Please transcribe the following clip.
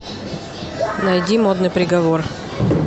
найди модный приговор